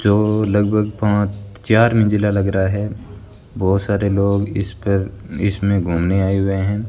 जो लगभग पांच चार मंजिला लग रहा है बहोत सारे लोग इस पर इसमें घूमने आए हुए हैं।